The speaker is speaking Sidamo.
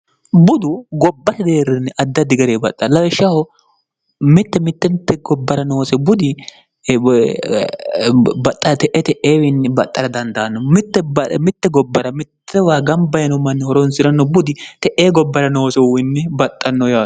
budu gobbate deerrinni addaddi gare baxxa laishshaho mitte mittemitte gobbara noose budi bxxte ete eewiinni baxxara dandaanno mitte gobbara mittewa gambayino manni horonsi'ranno budi te'e gobbara noosehuyiinni baxxanno yaano